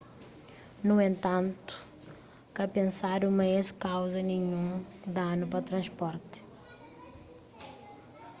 nu entantu ka pensadu ma es kauza ninhun danu pa transporti